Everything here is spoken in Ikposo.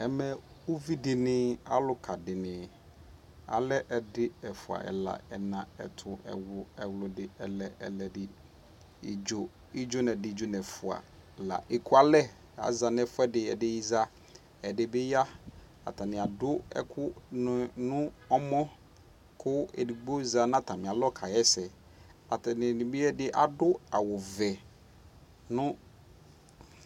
Ɛnɛ uvi dini, aluka dini alɛ ɛdi, ɛfua, ɛla, ɛna, ɛtu, ɛwlu, ɛwludi ,ɛlɛ, ɛwludi idzo, idzo nɛdi, idzonɛfua la ɛkua lɛ za nɛ fuɛ di Ɛdi za , ɛdi bi yaAta ni adu ɛkuɛdi nɛ mɔKu ɛdigbo ya nata mi alɔ ka wɔ sɛAtani ɛdini bi adu awu vɛ nu